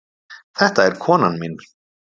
Þetta er konan mín.